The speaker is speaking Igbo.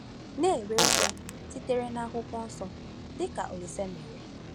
Na-enwe ume sitere na Akwụkwọ Nsọ, dị ka Olise mere